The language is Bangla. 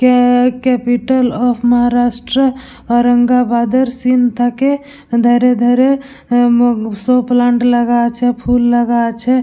কে ক্যাপিটাল অফ মহারাষ্ট্র অরঙ্গাবাদের সিন থাকে। ধারে ধারে হুম শো প্লান্ট লাগা আছে ফুল লাগা আছে।